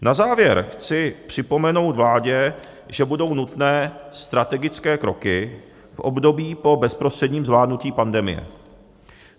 Na závěr chci připomenout vládě, že budou nutné strategické kroky v období po bezprostředním zvládnutí pandemie.